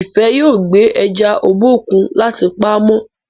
Ifẹ yóò gbé eja Obokun láti pàmò.